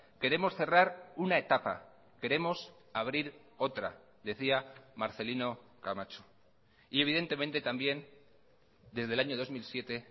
queremos cerrar una etapa queremos abrir otra decía marcelino camacho y evidentemente también desde el año dos mil siete